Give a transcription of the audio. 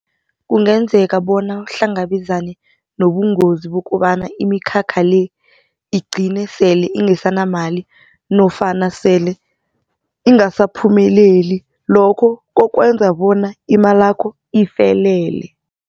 Kungenzeka bona uhlangabezane nobungozi bokobana imikhakha le igcine sele ingesanamali nofana sele ingasaphumeleli lokho kuzokwenza bona imalakho ifelele.